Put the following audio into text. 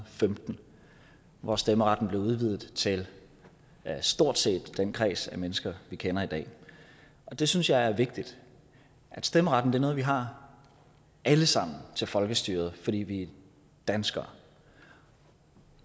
femten hvor stemmeretten blev udvidet til stort set den kreds af mennesker vi kender i dag det synes jeg er vigtigt stemmeretten er noget vi har alle sammen til folkestyret fordi vi er danskere